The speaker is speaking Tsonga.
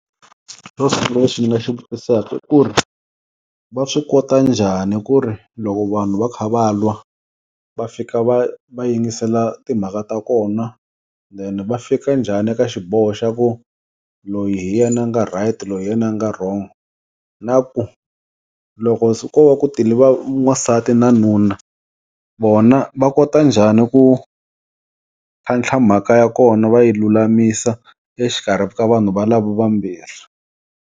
lexi ni nga xi vutisaka i ku ri va swi kota njhani ku ri loko vanhu va kha va lwa, va fika va va yingisela timhaka ta kona then va fika njhani ka xiboho xa ku loyi hi yena a nga right loyi hi yena a nga wrong. Na ku loko ko va ku tele n'wansati na nuna, vona va kota njhani ku tlhantlha mhaka ya kona va yi lulamisa exikarhi ka vanhu valavo vambirhi.